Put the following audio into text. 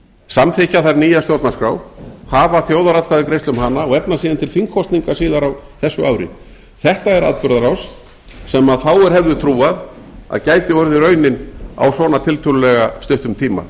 samþykkja þar nýja stjórnarskrá hafa þjóðaratkvæðagreiðslu um hana og efna síðan til þingkosninga síðar á þessu ári þetta er atburðarás sem fáir hefðu trúað að gæti orðið raunin á svona tiltölulega stuttum tíma